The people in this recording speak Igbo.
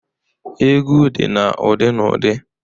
Egwu dị na ụdị n'ụdị.